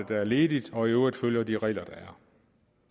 der er ledige og i øvrigt følger de regler der